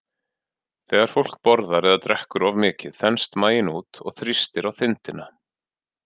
Þegar fólk borðar eða drekkur of mikið þenst maginn út og þrýstir á þindina.